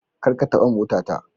Kar ka taba motata.